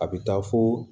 A bɛ taa fo